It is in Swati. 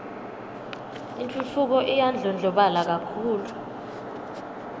intfutfuko iyandlondlobala kakhulu